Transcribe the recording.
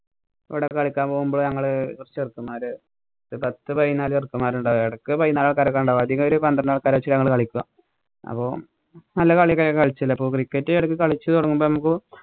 അവടെ കളിക്കാന്‍ പോകുമ്പോ ഞങ്ങള് ചെറുക്കന്മാര് ഒരു പത്ത് പതിനാല് ചെറുക്കന്‍മാരുണ്ടാകും. എടക്ക് പതിനാറ് ചെറുക്കന്മാരൊക്കെ അതിന്നു പന്ത്രണ്ട് ആള്‍ക്കാരെ വച്ച് ഞങ്ങള് കളിക്കും. അപ്പൊ നല്ല കളിയൊക്കെ കളിച്ചില്ലേ. അപ്പൊ cricket എടക്ക് കളിച്ചു തൊടങ്ങുമ്പോ നമുക്ക്